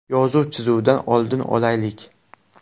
Yozuv-chizuvdan oldin olaylik.